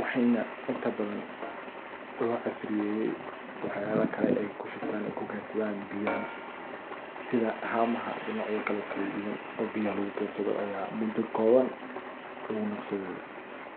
waxeyna intaa badaan loo casriyeeye waxyawa kalee eey kuu shubtaan eykuu keydsadaan biyaaha. sidaa haamaha iyo nocyoo kalee oo kalaa duwaan oo biyaaha laguu keydsaado aya muudo kobaan laguu naqsaade.